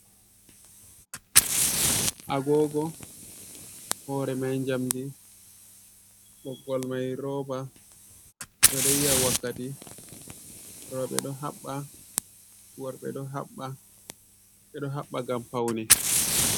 Agogo hore mai njamdi ɓoggol mai roba, ɓedo yi'a wakkati roɓe ɗo haɓɓa worɓe ɗo haɓɓa, ɓedo haɓɓa ngam paune.